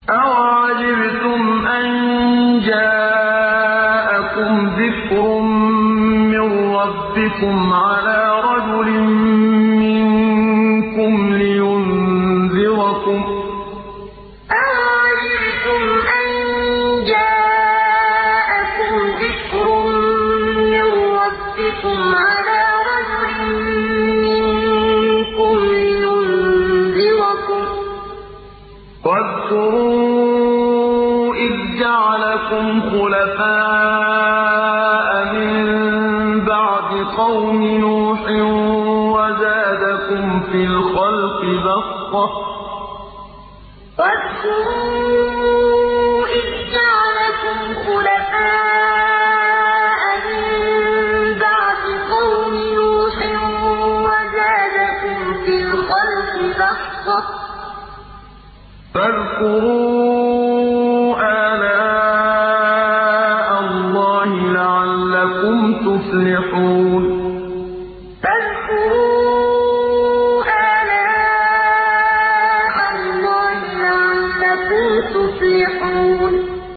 أَوَعَجِبْتُمْ أَن جَاءَكُمْ ذِكْرٌ مِّن رَّبِّكُمْ عَلَىٰ رَجُلٍ مِّنكُمْ لِيُنذِرَكُمْ ۚ وَاذْكُرُوا إِذْ جَعَلَكُمْ خُلَفَاءَ مِن بَعْدِ قَوْمِ نُوحٍ وَزَادَكُمْ فِي الْخَلْقِ بَسْطَةً ۖ فَاذْكُرُوا آلَاءَ اللَّهِ لَعَلَّكُمْ تُفْلِحُونَ أَوَعَجِبْتُمْ أَن جَاءَكُمْ ذِكْرٌ مِّن رَّبِّكُمْ عَلَىٰ رَجُلٍ مِّنكُمْ لِيُنذِرَكُمْ ۚ وَاذْكُرُوا إِذْ جَعَلَكُمْ خُلَفَاءَ مِن بَعْدِ قَوْمِ نُوحٍ وَزَادَكُمْ فِي الْخَلْقِ بَسْطَةً ۖ فَاذْكُرُوا آلَاءَ اللَّهِ لَعَلَّكُمْ تُفْلِحُونَ